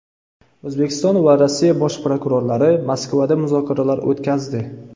O‘zbekiston va Rossiya Bosh prokurorlari Moskvada muzokaralar o‘tkazdi.